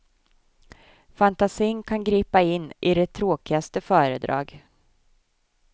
Fantasin kan gripa in i det tråkigaste föredrag.